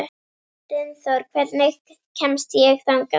Dynþór, hvernig kemst ég þangað?